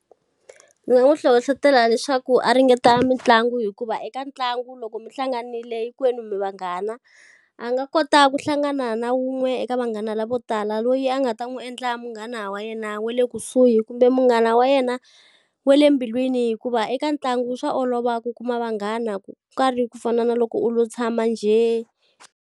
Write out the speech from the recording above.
Ndzi nga n'wi hlohletela leswaku a ringeta mitlangu hikuva eka ntlangu loko mi hlanganile hinkwenu mi vanghana. A nga kota ku hlangana na wun'we eka vanghana lavo tala loyi a nga va ta n'wi endla munghana wa yena wa le kusuhi kumbe munghana wa yena, wa le mbilwini. Hikuva eka ntlangu swa olova ku kuma vanghana ku nga ri ku fana na loko u lo tshama njhe.